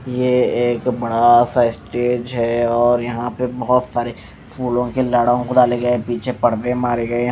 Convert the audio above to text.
यह एक बड़ा सा स्टेज है और यहां पे बहुत सारे फूलों के लड़ो को डाले गए। पीछे परदे मारे गए।